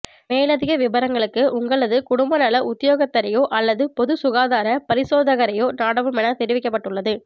மேலதிக விபரங்களுக்கு உங்களது குடும்பநல உத்தியோகத்தரையோ அல்லது பொதுச்சுகாதார பரிசோதகரையோ நாடவும் என தெரிவிக்கப்பட்டுள்ளது